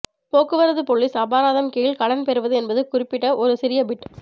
போக்குவரத்து போலீஸ் அபராதம் கீழ் கடன் பெறுவது என்பது குறித்து ஒரு சிறிய பிட்